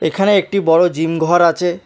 এখানে একটি বড়ো জিম ঘর আছে।